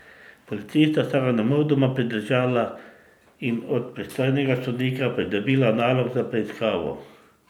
Policista sta ga nemudoma pridržala in od pristojnega sodnika pridobila nalog za preiskavo.